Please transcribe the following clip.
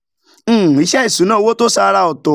um iṣẹ́ ìṣúnná owó tó ṣàrà ọ̀tọ̀